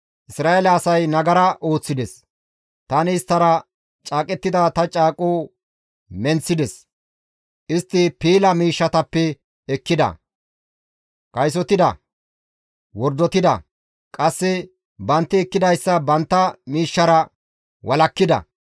Isra7eele asay nagara ooththides; tani isttara caaqettida ta caaqoza menththides; istti piila miishshatappe ekkida; kaysotida; wordotida; qasse bantti ekkidayssa bantta miishshara walakkida.